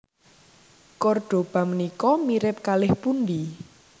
Kordoba menika mirip kalih pundi?